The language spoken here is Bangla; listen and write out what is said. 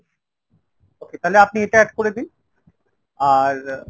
okay তালে আপনি এটা add করে দিন। আর